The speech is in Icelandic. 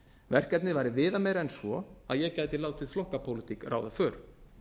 verkefnið væri viðameira en svo að ég gæti gæti látið flokkapólitík ráða för